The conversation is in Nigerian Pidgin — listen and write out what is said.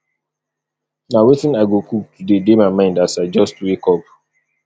na wetin i go cook today dey my mind as i just wake up